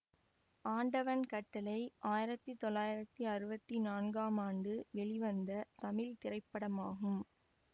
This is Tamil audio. ஆண்டவன் கட்டளை ஆயிரத்தி தொள்ளாயிரத்தி அறுபத்தி நான்காம் ஆண்டு வெளிவந்த தமிழ் திரைப்படமாகும்